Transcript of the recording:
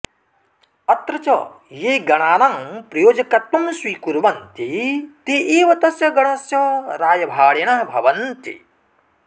अत्र च ये गणानां प्रायोजकत्त्वं स्वीकुर्वन्ति ते एव तस्य गणस्य रायभारिणः भवन्ति